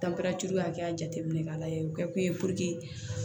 hakɛya jateminɛ k'a lajɛ o kɛ kun ye puruke